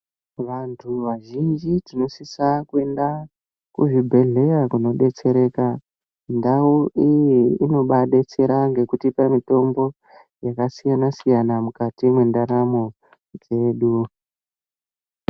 Vantu vazhinji tinosisa kuenda kuzvibhedhleya kunodetsereka. Ndau iyi inobaadetsera ngekutipa mitombo dzakasiyana-siyana mukati mwendaramo dzedu.